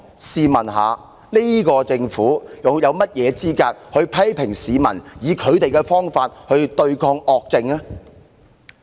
試問這個政府又有何資格批評市民以他們的方法來對抗惡政呢？